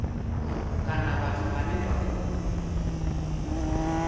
kana vhathu vhane vha khou